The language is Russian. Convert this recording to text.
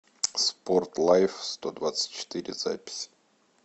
спорт лайфстодвадцатьчетыре запись